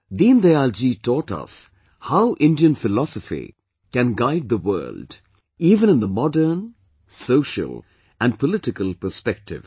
Deendayal ji taught us how Indian philosophy can guide the world even in the modern, social and political perspective